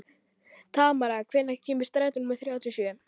Tamara, hvenær kemur strætó númer þrjátíu og sjö?